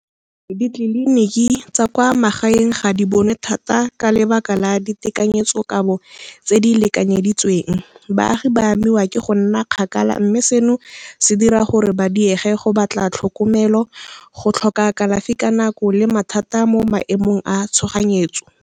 Ditleliniki tsa kwa magaeng ga di bonwe thata ka lebaka la di tekanyetsokabo tse di lekanyeditsweng. Baagi ba amiwa ke go nna kgakala mme seno se dira gore ba diege go batla tlhokomelo, go tlhoka kalafi ka nako le mathata mo maemong a tshoganyetso.